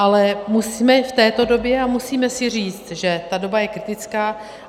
Ale jsme v této době a musíme si říct, že ta doba je kritická.